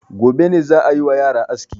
Gobe ne za a yi wa yara aski.